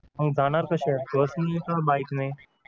मग जाणार कशे आहेत बसने की bike ने